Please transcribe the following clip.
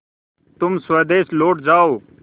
तुम स्वदेश लौट जाओ